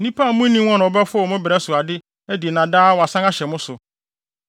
Nnipa a munnim wɔn na wɔbɛfow mo brɛ so ade adi na daa wɔasan ahyɛ mo so.